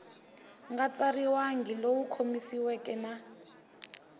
nga tsariwangi lowu khomanisiweke na